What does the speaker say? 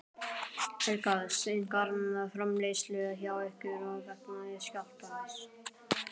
Helga: Seinkar framleiðslu hjá ykkur vegna skjálftans?